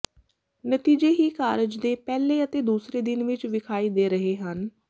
ਨਤੀਜੇ ਹੀ ਕਾਰਜ ਦੇ ਪਹਿਲੇ ਅਤੇ ਦੂਜੇ ਦਿਨ ਵਿਚ ਵਿਖਾਈ ਦੇ ਰਹੇ ਹਨ